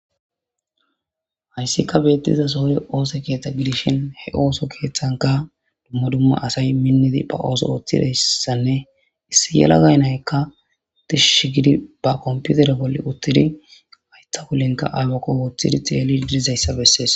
Hayssika beettiza sohoy oose keethta gidishin he ooso keeththanka dumma dumma asay minnidi ba ooso ooththidayssanne issi yelagay naykka dishishi gidi ba komputere bolle uttidi haytha wulenka aywakko hooththidi xeeli gidizayssa bessees